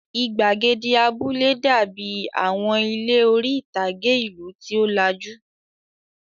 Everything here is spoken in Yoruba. Ìgbàgede abúlé dàbí àwọn ilé orí-ìtàgé ìlú tí ó lajú.